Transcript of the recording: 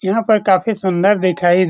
यहां पर काफी सुंदर दिखाई --